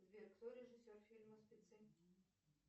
сбер кто режиссер фильма спецы